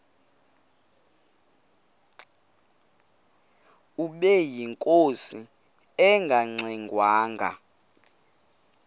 ubeyinkosi engangxe ngwanga